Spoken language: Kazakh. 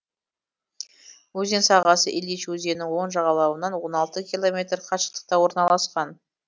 өзен сағасы илыч өзенінің оң жағалауынан он алты километр қашықтықта орналасқан